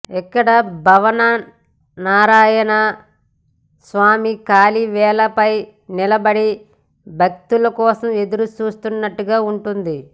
ఇక్కడ భావన్నారాయణ స్వామి కాలి వేళ్ల పై నిలబడి భక్తుల కోసం ఎదురుచూస్తున్నట్లుగా ఉంటుందిం